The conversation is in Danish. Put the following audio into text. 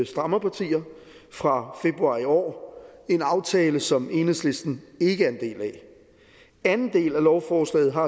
strammerpartier fra februar i år en aftale som enhedslisten ikke er en del af anden del af lovforslaget har